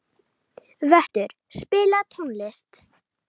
Vöttur, spilaðu tónlist.